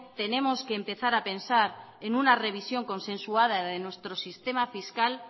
tenemos que empezar a pensar en una revisión consensuada de nuestro sistema fiscal